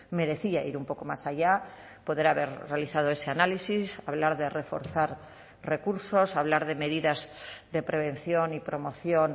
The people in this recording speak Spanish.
merecía ir un poco más allá poder haber realizado ese análisis hablar de reforzar recursos hablar de medidas de prevención y promoción